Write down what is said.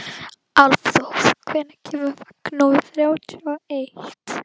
Álfþór, hvenær kemur vagn númer þrjátíu og eitt?